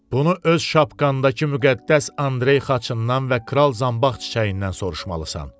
Bunu öz şapkandakı müqəddəs Andrey xaçından və Kral Zanbaq çiçəyindən soruşmalısan.